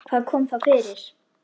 Hvað kom þá fyrir?